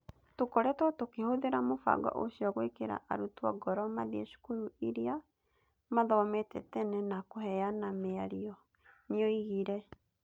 "Tũkoretwo tũkĩhũthĩra mũbango ũcio gwĩkĩra arutwo ngoro mathiĩ cukuru iria maathomete tene na kũheana mĩario", nĩoigire.